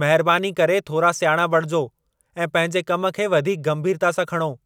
महिरबानी करे थोरा सियाणा बणिजो ऐं पंहिंजे कम खे वधीक गंभीरता सां खणो।